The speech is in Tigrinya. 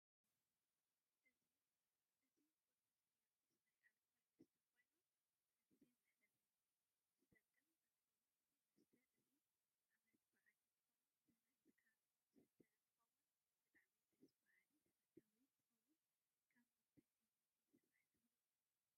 እዚቅድስ ጊዮርጊስ ናይ ኣልኮል መስተ ኮይኑ ንግዘ መሕለፍ ዝጥቀምእንትከውን እዚ መስተ እዚዓመት በዓል እንትኮን ዘና እልካ ዝስተ እንትከውን ብጣዓሚ ድስ በሃሊ ተፋታዊ እንትከውን ካብ ምንታይ ዓይነት ይስራሕ ትብሉ?